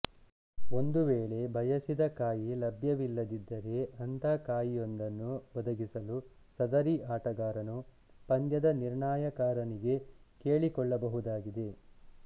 ಒಂದು ವೇಳೆ ಬಯಸಿದ ಕಾಯಿ ಲಭ್ಯವಿಲ್ಲದಿದ್ದರೆ ಅಂಥ ಕಾಯಿಯೊಂದನ್ನು ಒದಗಿಸಲು ಸದರಿ ಆಟಗಾರನು ಪಂದ್ಯದ ನಿರ್ಣಯಕಾರನಿಗೆ ಕೇಳಿಕೊಳ್ಳಬಹುದಾಗಿದೆ